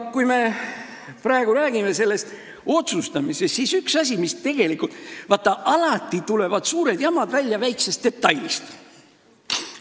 Kui me praegu räägime sellest otsustamisest, siis vaadake, alati tulevad suured jamad väiksest detailist.